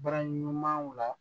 Bara ɲuman la